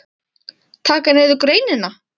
Taka niður greinina?